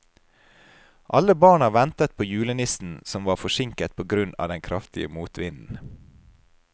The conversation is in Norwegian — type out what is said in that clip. Alle barna ventet på julenissen, som var forsinket på grunn av den kraftige motvinden.